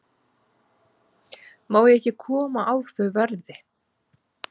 Má ég ekki koma á þau verði?